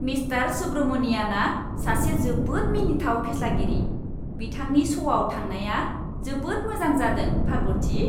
Mister सुब्रमनियानआ सासे जोबोद मिनिथाव फेस्लागिरि। बिथांनि श'आव थांनाया जोबोद मोजां जादों, पार्बथि।